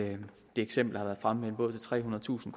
eksempel fremme med en båd til trehundredetusind